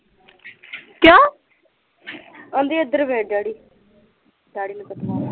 ਕਹਿੰਦੀ ਇੱਧਰ ਵੇਖ ਡੈਡੀ, ਡੈਡੀ ਨੂੰ ਪਤਾ ਲੱਗ